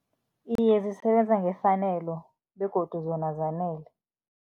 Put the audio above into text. Iye, zisebenza ngefanelo begodu zona zanele.